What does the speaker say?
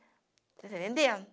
está entendendo?